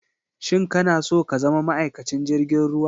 Shin ka na so ka zama ma'aikacin jirgin ruwa?